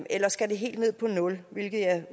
eller skal det helt ned på nul